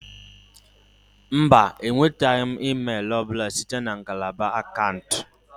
Ee e, enwetaghị m email ọ bụla site na ngalaba akaụntụ